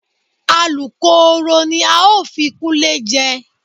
Alukooro ni a ó fi Kúnlé jẹ